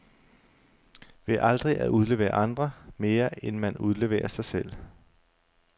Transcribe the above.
Ved aldrig at udlevere andre, mere end man udleverer sig selv.